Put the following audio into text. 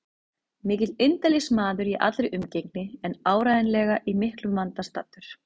Mikill indælismaður í allri umgengni en áreiðanlega í miklum vanda staddur.